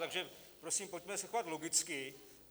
Takže prosím, pojďme se chovat logicky.